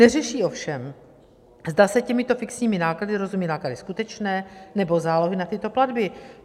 Neřeší ovšem, zda se těmito fixními náklady rozumí náklady skutečné, nebo zálohy na tyto platby.